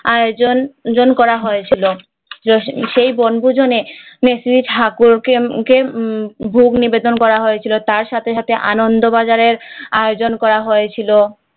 আয়োজন করা হয়েছিল সেই বনভোজনের ঠাকুরকে ভোগ নিবেদন করা হয়েছিল তার সাথে সাথে আনন্দবাজারের আয়োজন করা হয়েছিল